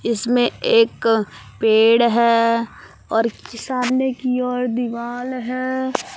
इसमें एक पेड़ है और सामने की ओर दीवाल है।